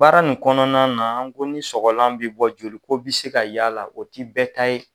Baara nin kɔnɔna na an ko ni sɔgɔlan bi bɔ joli ko bi se ka ye ala o ti bɛɛ ta ye